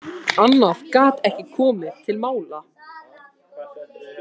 Annað gat ekki komið til mála.